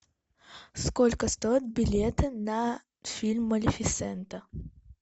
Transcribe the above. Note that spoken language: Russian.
сколько стоят билеты на фильм малефисента